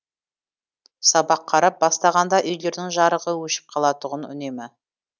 сабақ қарап бастағанда үйлердің жарығы өшіп қалатұғын үнемі